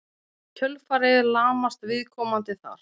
í kjölfarið lamast viðkomandi þar